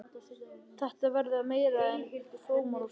Þetta verða meira en frómar óskir.